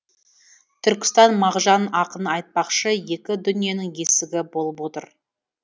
түркістан мағжан ақын айтпақшы екі дүниенің есігі болып отыр